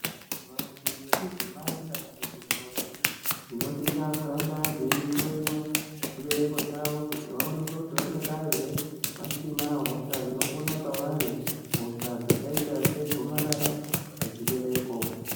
Vantu vechidzimayi kana kuti ntombi, dzinosisa kuramba dziyihloyiwa chibereko chawo kuti vawoneke kuti vangadai here vasina hosha inopona pavari. Hosha dzakaita segomarara dzechibereko.